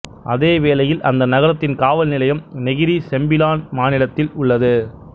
அதே வேளையில் அந்த நகரத்தின் காவல் நிலையம் நெகிரி செம்பிலான் மாநிலத்தில் உள்ளது